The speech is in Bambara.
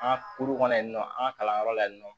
An ka kulu kɔnɔ yen nɔ an ka kalanyɔrɔ la yen nɔ